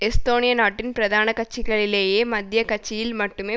எஸ்தோனிய நாட்டின் பிரதான கட்சிகளிலேயே மத்திய கட்சியில் மட்டுமே